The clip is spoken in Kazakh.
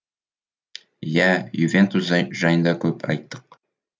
иә ювентус жайында көп айттық